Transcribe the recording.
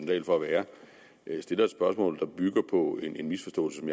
dahl for at være stiller et spørgsmål der bygger på en misforståelse af